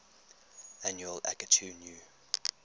annual akitu new